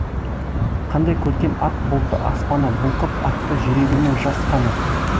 қандай көркем ақ бұлтты аспаны бұлқып ақты жүрегімнің жас қаны